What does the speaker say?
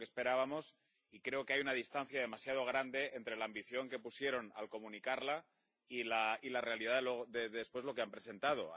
No era lo que esperábamos, y creo que hay una distancia demasiado grande entre la ambición que pusieron al comunicarla y la realidad, después, de lo que han presentado.